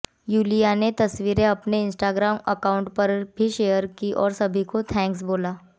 Yulia ने तस्वीरें अपने इंस्टाग्राम अकाउंट पर भी शेयर कीं और सभी को थैंक्स बोला